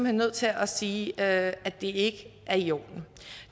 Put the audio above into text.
hen nødt til at sige at det ikke er i orden